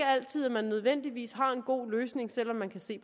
altid man nødvendigvis har en god løsning selv om man kan se